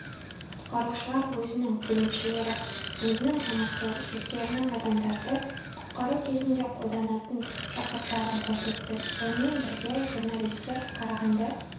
құтқарушылар өзінің бөлімшелері өзінің жұмысы өздерінің адамдарды құтқару кезінде қолданатын жабдықтарын көрсетті сонымен бірге журналистер қарағанды